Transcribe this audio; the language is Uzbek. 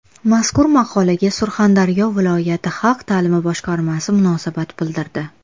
Mazkur maqolaga Surxondaryo viloyati xalq ta’limi boshqarmasi munosabat bildirdi .